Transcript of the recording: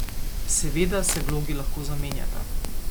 Seveda se vlogi lahko zamenjata.